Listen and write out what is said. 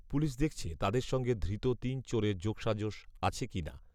police দেখছে তাদের সঙ্গে ধৃত তিন চোরের যোগসাজশ আছে কি না